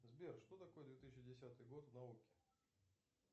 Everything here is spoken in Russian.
сбер что такое две тысячи десятый год в науке